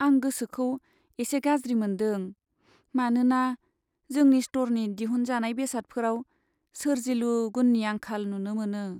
आं गोसोखौ एसे गाज्रि मोन्दों मानोना जोंनि स्ट'रनि दिहुनजानाय बेसादफोराव सोरजिलु गुननि आंखाल नुनो मोनो।